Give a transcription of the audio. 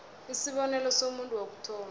isibonelo somuntu wokuthoma